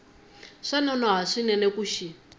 swa nonoha swinene ku xi